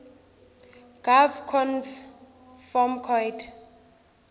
gov conv form coid